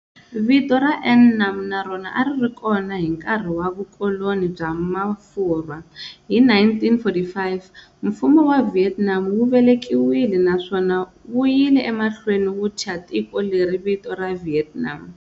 Vito ra"An Nam" na rona a ri ri kona hi nkarhi wa vukoloni bya Mafurwa. Hi 1945, Mfumo wa Vietnam wu velekiwile naswona wuyile emahlweni wu thya tiko leri vito ra"Vietnam".